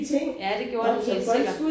Ja det gjort det helt sikker